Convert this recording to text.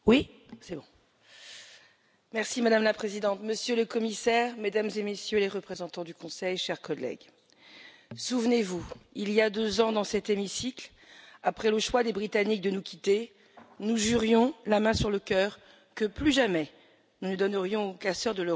Madame la Présidente, Monsieur le Commissaire, Mesdames et Messieurs les représentants du Conseil, chers collègues, souvenez vous, il y a deux ans, dans cet hémicycle, après le choix des Britanniques de nous quitter, nous jurions la main sur le cœur que plus jamais nous ne donnerions aux casseurs de l'Europe l'opportunité de l'emporter.